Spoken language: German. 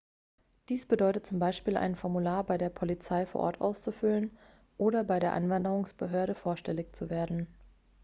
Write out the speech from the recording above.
dies bedeutet zum beispiel ein formular bei der polizei vor ort auszufüllen oder bei der einwanderungsbehörde vorstellig zu werden